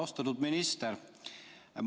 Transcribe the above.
Austatud minister!